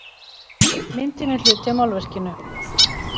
Myndin er hluti af málverkinu